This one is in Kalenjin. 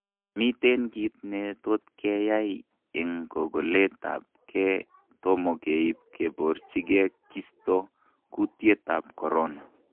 Miten kit netotkeyai eng kokolet tab ge tomo keib keborchige kisto kutyet tab corona